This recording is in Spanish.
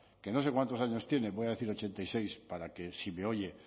que no sé cuántos años tiene voy a decir ochenta y seis para que si me oye